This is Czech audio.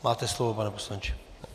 Máte slovo, pane poslanče.